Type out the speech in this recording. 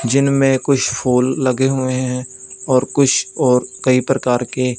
जिनमें कुछ फूल लगे हुए हैं और कुछ और कई प्रकार के--